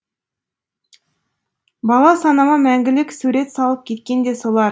бала санама мәңгілік сурет салып кеткен де солар